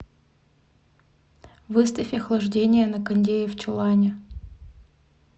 выставь охлаждение на кондее в чулане